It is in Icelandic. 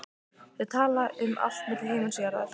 Þau tala um allt milli himins og jarðar.